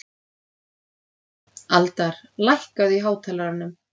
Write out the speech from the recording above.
Aldar, lækkaðu í hátalaranum.